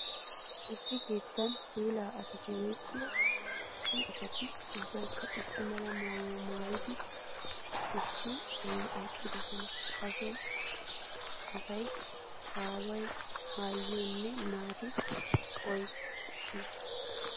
Issi keetta puulla asatti woykko so asatti ubbaykka issi mala maayuwa maayiddi issi bolla eqqiddosonna. Ha so asay aawa aayiyonne naata oyqqis.